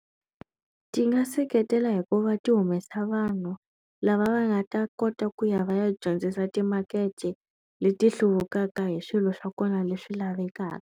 Ti nga seketela hi ku va ti humesa vanhu lava va nga ta kota ku ya va ya dyondzisa timakete leti hluvukaka hi swilo swa kona leswi lavekaka.